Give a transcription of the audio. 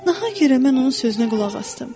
Nahaq yerə mən onun sözünə qulaq asdım.